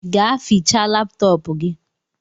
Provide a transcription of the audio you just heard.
Gaa fịchaa laptọọpu gi!